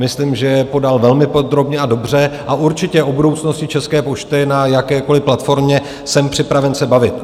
Myslím, že je podal velmi podrobně a dobře, a určitě o budoucnosti České pošty na jakékoliv platformě jsem připraven se bavit.